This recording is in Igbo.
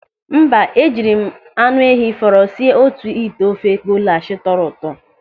Mba, e jiri m anụ ehi fọrọ sie otu ite ofe golash tọrọ ụtọ.